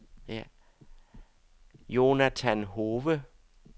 Jonathan Hove